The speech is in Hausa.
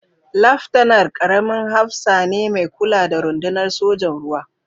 Laftanar, ƙaramin hafsa ne mai kula da rundunar sojan ruwa